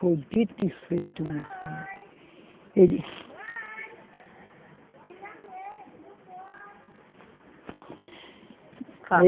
Foi dito e feito, minha filha. Ele